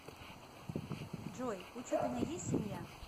джой у чупиной есть семья